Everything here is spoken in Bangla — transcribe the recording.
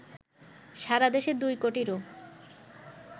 সারা দেশে ২ কোটিরও